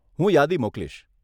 હું યાદી મોકલીશ.